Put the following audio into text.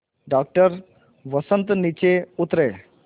doctor Vasant नीचे उतरे